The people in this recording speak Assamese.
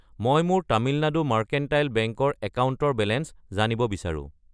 মই মোৰ তামিলনাডু মাৰ্কেণ্টাইল বেংক ৰ একাউণ্টৰ বেলেঞ্চ জানিব বিচাৰো।